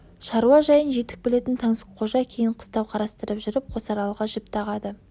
шаруа жайын жетік білетін таңсыққожа кейін қыстау қарастырып жүріп қосаралға жіп тағады